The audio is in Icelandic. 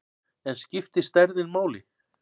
En skiptir stærðin máli?